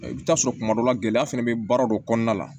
I bɛ taa sɔrɔ tuma dɔ la gɛlɛya fana bɛ baara dɔ kɔnɔna la